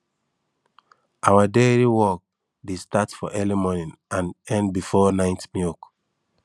our dairy work dey start for early morning and end before night milk